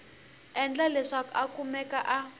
endla leswaku a kumeka a